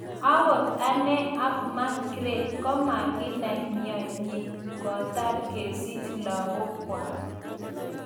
ogot anee ak Magreth komaginai mianyi kotar kesich lagokyag